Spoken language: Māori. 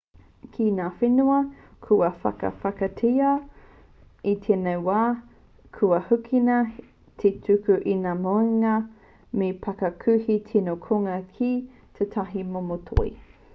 ki ngā whenua kua whakawhanaketia i tēnei wā kua hīkina te tuku i ngā moenga me te parakuihi tino kounga ki tētahi momo toi